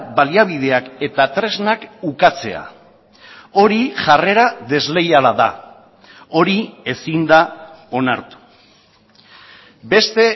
baliabideak eta tresnak ukatzea hori jarrera desleiala da hori ezin da onartu beste